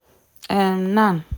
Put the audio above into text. um nan